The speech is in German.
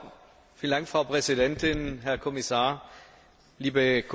Frau Präsidentin, Herr Kommissar, liebe Kollegen!